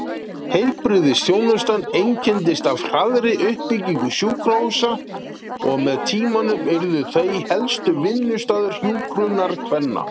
Heilbrigðisþjónustan einkenndist af hraðri uppbyggingu sjúkrahúsa og með tímanum urðu þau helsti vinnustaður hjúkrunarkvenna.